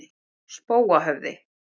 Spóahöfða